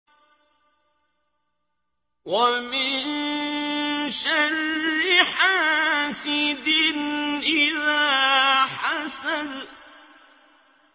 وَمِن شَرِّ حَاسِدٍ إِذَا حَسَدَ